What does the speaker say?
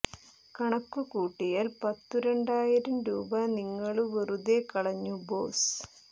കണക്കു കൂട്ടിയാൽ പത്തു രണ്ടായിരം രൂപ നിങ്ങളു വെറുതെ കളഞ്ഞു ബോസ്സ്